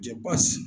Cɛ basi